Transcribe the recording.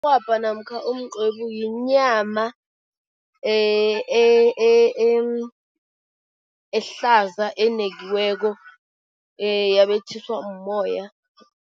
Mrhwabha namkha umqwebu yinyama ehlaza enekiweko yabetjhiswa mmoya.